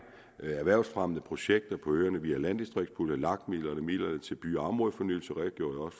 erhvervsfremmende projekter på øerne vi har landdistriktspuljer lak midler og midlerne til by og områdefornyelse redegjorde